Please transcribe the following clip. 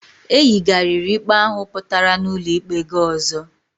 E yigariri ikpe ahụ pụtara n"ulo ikpe ga ọzọ